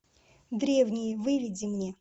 древние выведи мне